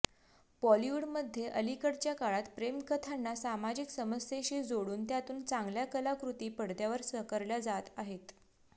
बॉलिवूडमध्ये अलिकडच्या काळात प्रेमकथांना सामाजिक समस्येशी जोडून त्यातून चांगल्या कलाकृती पडद्यावर साकारल्या जात आहेत